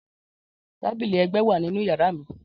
Tabili ẹgbẹ wa ninu yara mi.